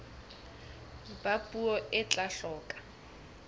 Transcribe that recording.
ba puo e tla hloka